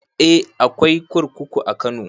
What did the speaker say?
Eh akwai kurkuku a kano